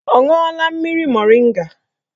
Ọ ṅụọla mmiri moringa?